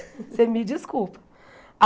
Você me desculpe.